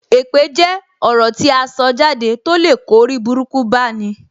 Èpè jẹ́ ọ̀rọ̀ tí aṣọ jáde to lè kó oriburuku bá ní.